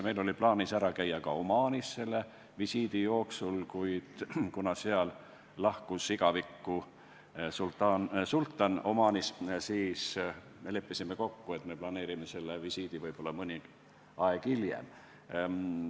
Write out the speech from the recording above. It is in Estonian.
Meil oli selle visiidi raames plaanis ära käia ka Omaanis, kuid kuna sealne sultan lahkus igavikku, siis leppisime kokku, et planeerime selle visiidi võib-olla hilisemasse aega.